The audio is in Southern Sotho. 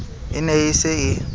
e ne e se e